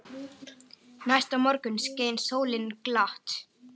Hvílíkt stress!